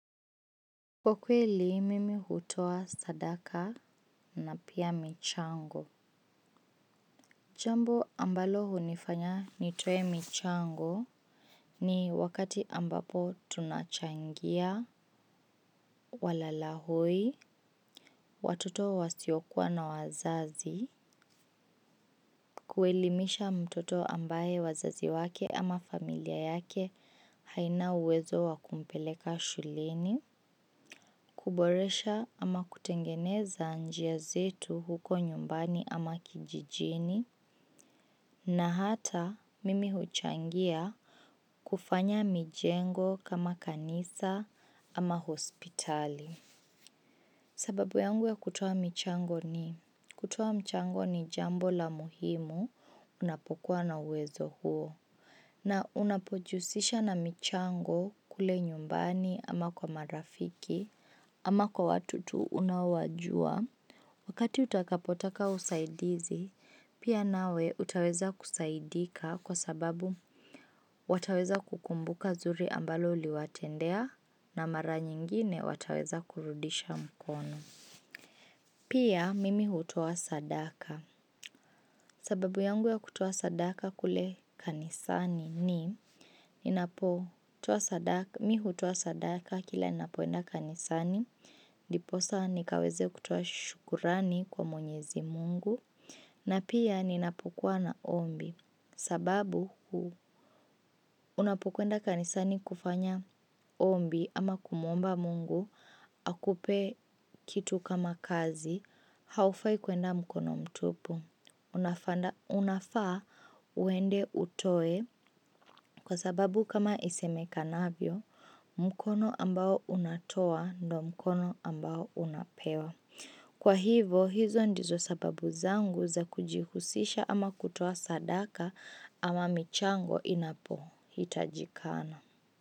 Kwa kweli mimi hutoa sadaka na pia michango. Jambo ambalo hunifanya nitoe michango. Ni wakati ambapo tunachangia walalahoi, watoto wasiokuwa na wazazi. Kuelimisha mtoto ambaye wazazi wake ama familia yake haina uwezo wa kumpeleka shuleni kuboresha ama kutengeneza njia zetu huko nyumbani ama kijijini na hata mimi huchangia kufanya mijengo kama kanisa ama hospitali. Sababu yangu ya kutoa michango ni kutoa mchango ni jambo la muhimu unapokuwa na uwezo huo na unapojihusisha na michango kule nyumbani ama kwa marafiki ama kwa watu tu unaowajua. Wakati utakapotaka usaidizi, pia nawe utaweza kusaidika kwa sababu wataweza kukumbuka zuri ambalo uliwatendea na mara nyingine wataweza kurudisha mkono. Pia mimi hutoa sadaka. Sababu yangu ya kutoa sadaka kule kanisani ni ninapo toa sadaka, mi hutoa sadaka kila ninapoenda kanisani ndiposa nikaweze kutoa shukrani kwa mwenyezi mungu. Na pia ninapokuwa na ombi. Sababu unapokwenda kanisani kufanya ombi ama kumuomba mungu akupe kitu kama kazi, haufai kuenda mkono mtupu. Unafaa uende utoe kwa sababu kama isemekanavyo, mkono ambao unatoa ndo mkono ambao unapewa. Kwa hivo, hizo ndizo sababu zangu za kujihusisha ama kutoa sadaka ama michango inapohitajikana.